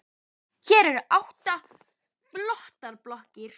Hér eru átta flottar blokkir.